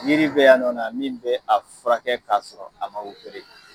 Yiri be yan nɔ na min be a furakɛ ka sɔrɔ a ma